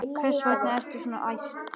Hvers vegna ertu svona æst?